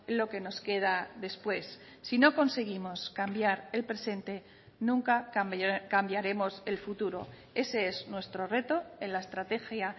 lo que nos queda después si no conseguimos cambiar el presente nunca cambiaremos el futuro ese es nuestro reto en la estrategia